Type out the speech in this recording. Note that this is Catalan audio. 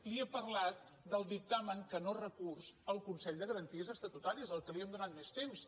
li he parlat del dictamen que no recurs al consell de garanties estatutàries amb què li hem donat més temps